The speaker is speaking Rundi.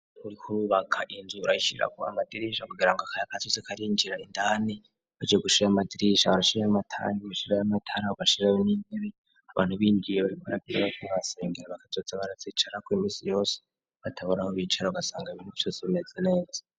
Kurikuro bakarinzuye urayishirako amadirisha kugira ngo akaya aka cizi karinjira indani baje gushaya amadirisha abarashira y'amatanku agashira y'amatarabo gashirayo n'intebe abantu bindwiye babikorakirabo kohasengera bakazotsa baratzicarako imisi yose bataboraho bicaro gasanga ibini vyose bimeze neza.